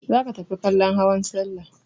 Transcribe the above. Za ka tafi kallon hawan salla!